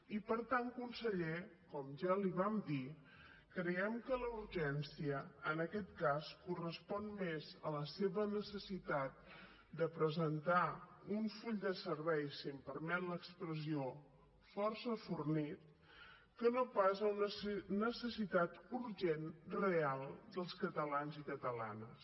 i per tant conseller com ja li vam dir creiem que la urgència en aquest cas correspon més a la seva necessitat de presentar un full de serveis si em permet l’expressió força fornit que no pas a una necessitat urgent real dels catalans i catalanes